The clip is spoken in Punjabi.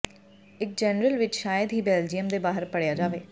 ਇੱਕ ਜਰਨਲ ਵਿੱਚ ਸ਼ਾਇਦ ਹੀ ਬੈਲਜੀਅਮ ਦੇ ਬਾਹਰ ਪੜ੍ਹਿਆ ਜਾਵੇ